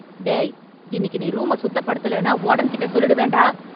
டேய், இன்னிக்கு நீ ரூம சுத்தப்படுத்தலன்னா வாடன்கிட்ட சொல்லிடுவேன்டா.